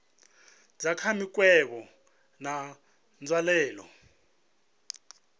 dza kha mikovhe na nzwalelo